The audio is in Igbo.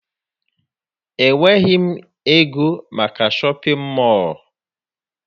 Enweghị m ego maka shọpịn mọọ